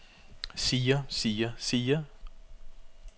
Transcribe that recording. siger siger siger